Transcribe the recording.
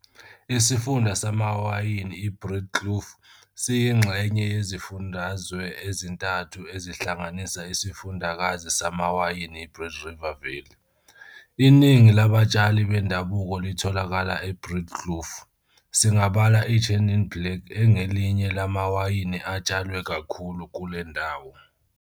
Isifunda samawayini iBreedekloof siyinxenye yezifundazwe ezintathu ezihlanganisa isifundakazi samawayini iBreede River Valley. Iningi labatshali bendabuko litholakala eBreedekloof, singabala iChenin Blanc engelinye lamawayini atshalwe kakhulu kulendawo.